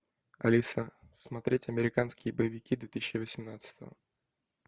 алиса смотреть американские боевики две тысячи восемнадцатого